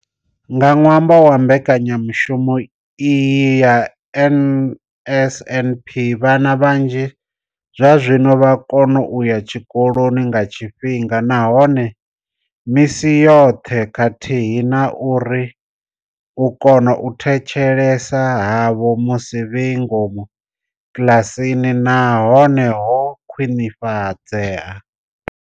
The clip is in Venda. Nga ṅwambo wa mbekanya mushumo iyi ya NSNP, vhana vhanzhi zwazwino vha vho kona u ya tshikoloni nga tshifhinga nahone misi yoṱhe khathihi na uri u kona u thetshelesa havho musi vhe ngomu kiḽasini na hone ho khwinifhadzea.